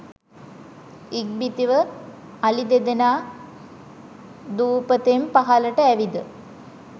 ඉක්බිතිව අලි දෙදෙනා දුපතෙන් පහළට ඇවිද